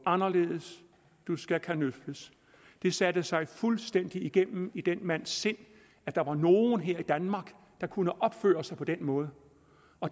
anderledes du skal kanøfles det satte sig fuldstændig igennem i den mands sind at der var nogen her i danmark der kunne opføre sig på den måde